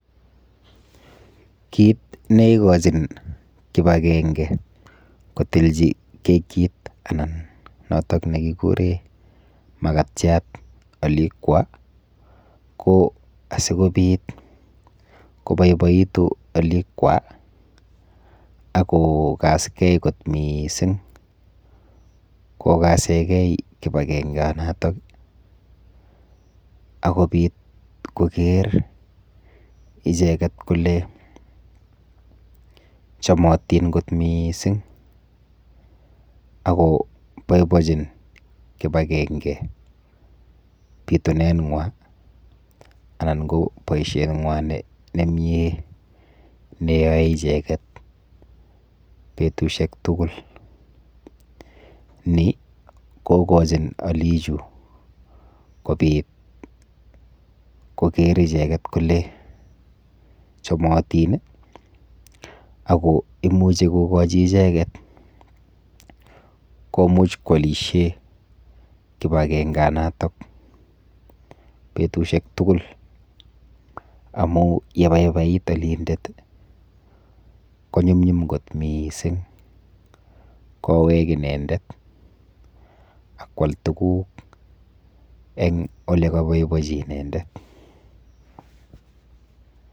Kit neikochin kipakenge kotilchi kit anan notok nekikuren makatiat olikwa ko asikopit kopoipoitu alikwa akokaskee kot mising kokasennge kipakenge notok ii akopit koker icheket kole chomotin kot mising ako poipoinchin kipakenge bitunengwan anan koboishet nywan nemie neyoe icheket betushek tugul nii kokochi olichu kobit kokere icheket kole chomotin ii Ako imuche kokochi icheget komuch koolishen kipakenge natok betushek tugul amun yepaipai olindet konyumnyum kot mising kowek inendet akwal tuguk en olekaboiboinchi inendet